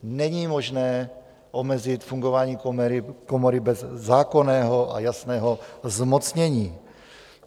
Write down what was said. Není možné omezit fungování komory bez zákonného a jasného zmocnění.